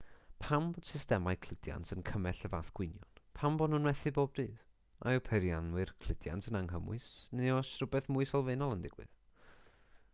pam bod systemau cludiant yn cymell y fath gwynion pam bod nhw'n methu bob dydd a yw peirianwyr cludiant yn anghymwys neu oes rhywbeth mwy sylfaenol yn digwydd